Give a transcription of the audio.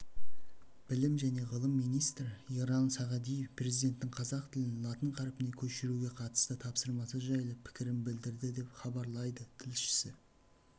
білім және ғылым министрі ерлан сағадиев президенттің қазақ тілін латын қарпіне көшіруге қатысты тапсырмасы жайлы пікірін білдірді деп хабарлайды тілшісі